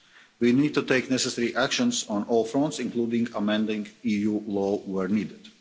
We need to take necessary actions on all fronts, including amending EU law where needed.